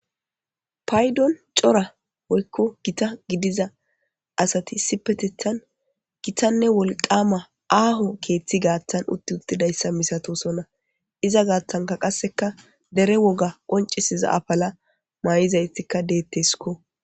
Paydoni cora woyko gita gidiza asati issipetethan gitanne wolqama aaho ketheza gaatha utti uttidaysa ha misiley malatoosona. Uza gathan qaseka dere woga qonc'isiza apala mayida asatika de'etesiko.